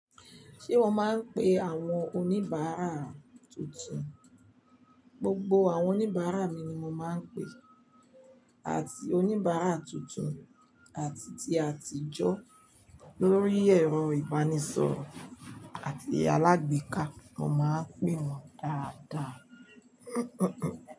Ṣé mo máa ń pe àwọn oníbàárà tuntun? Gbogbo àwọn oníbàárà mi ni mo máa ń pè àti oníbàárà tuntun àti ti àtijọ́ lórí ẹ̀rọ ìbánisọ̀rọ̀ àti alágbèéká, mo máa ń pè wọ́n dáadáa.